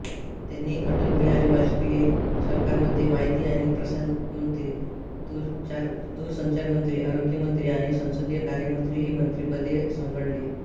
त्यांनी अटलबिहारी वाजपेयी सरकारमध्ये माहिती आणि प्रसारणमंत्री दूरसंचारमंत्री आरोग्यमंत्री आणि संसदीय कार्यमंत्री ही मंत्रिपदे सांभाळली